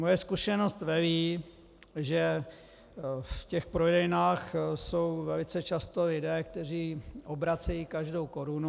Moje zkušenost velí, že v těch prodejnách jsou velice často lidé, kteří obracejí každou korunu.